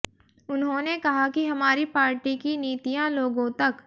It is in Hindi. उन्होंने कहा कि हमारी पार्टी की नीतियां लोगों तक